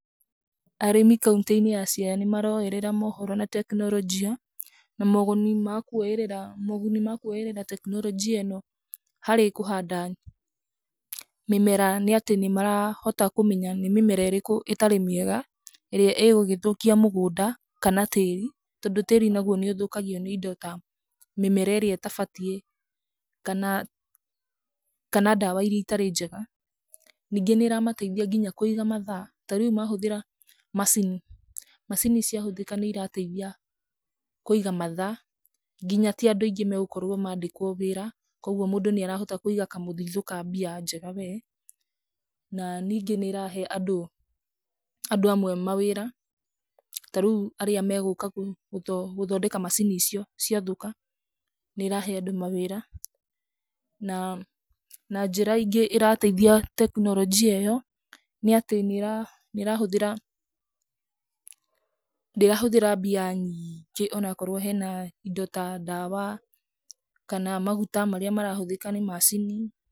Arĩmi kauntĩ-inĩ ya siaya nĩmaroyerera mohoro na tekinoronjia , na moguni makwoerera, moguni makũorera tekinoronjia ĩno harĩ kũhanda, mĩmera nĩatĩ, nĩmarahota kumenya nĩ mĩmera ĩrĩkũ ĩtarĩ mĩega, ĩrĩa ĩgũgĩthũkia mũgũnda, kana tĩri, tondũ tĩri naguo nĩũthũkagio nĩ indo ta mĩmera ĩrĩa ĩtabatiĩ, kana, kana ndawa iria itarĩ njega, ningĩ nĩramateithia nginya kũiga mathaa, tarĩu mahũthĩra macini, macini ciahũthĩka nĩirateithia, kũiga mathaa, nginya ti andũ aingĩ megũkorwo mandĩkwo wĩra, kwoguo mũndũ nĩarahota kũiga kamũthithũ ka mbia njega we, na ningĩ nĩrahe andũ, andũ amwe mawĩra, tarĩu arĩa megũka gũthondeka macini icio ciathũka, nĩrahe andũ mawĩra, na, na njĩra ingĩ ĩrateithia tekinoronjia ĩyo nĩatĩ nĩ, nĩrahũthĩra, ndĩrahũthĩra mbia nyingĩ, onakorwo hena, indo ta ndawa, kana maguta marĩa marahũthĩka nĩ macini.